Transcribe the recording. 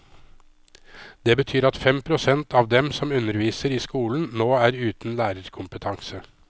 Det betyr at fem prosent av dem som underviser i skolen, nå er uten lærerkompetanse.